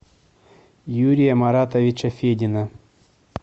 юрия маратовича федина